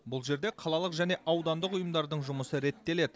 бұл жерде қалалық және аудандық ұйымдардың жұмысы реттеледі